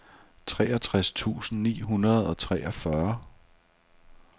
treogtres tusind ni hundrede og treogfyrre